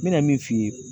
N bɛna min f'i ye